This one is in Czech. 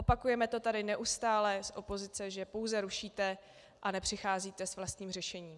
Opakujeme to tady neustále z opozice, že pouze rušíte a nepřicházíte s vlastním řešením.